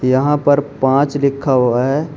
यहां पर पांच लिखा हुआ है।